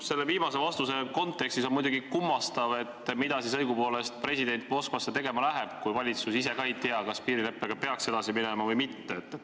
Selle viimase vastuse kontekstis on muidugi kummastav, mida siis õigupoolest president Moskvasse tegema läheb, kui valitsus ise ka ei tea, kas piirileppega peaks edasi minema või mitte.